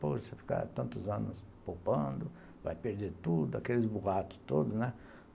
Pô, você fica tantos anos poupando, vai perder tudo, aqueles boatos todos, né?